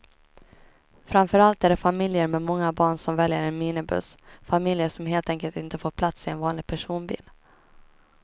Framför allt är det familjer med många barn som väljer en minibuss, familjer som helt enkelt inte får plats i en vanlig personbil.